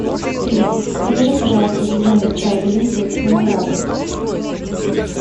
привет закажи пожалуйста зеленый чай гринфилд с виноградом